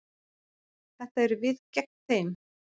Þetta eru við gegn þeim.